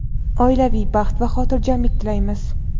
oilaviy baxt va xotirjamlik tilaymiz.